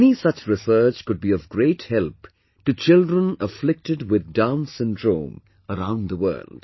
Any such research could be of great help to children afflicted with Down's syndrome around the world